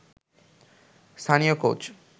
স্থানীয় কোচ